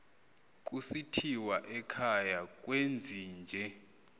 kusithiwa ekhaya kwezinje